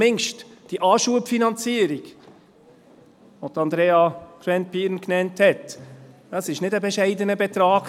Denn zumindest diese Anschubfinanzierung, die Andrea Gschwend-Pieren erwähnt hat, war kein bescheidener Betrag.